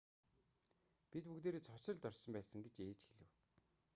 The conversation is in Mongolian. бид бүгдээрээ цочролд орсон байсан гэж ээж хэлэв